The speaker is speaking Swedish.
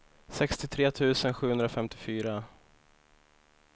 sextiotre tusen sjuhundrafemtiofyra